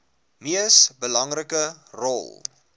mees belangrike rol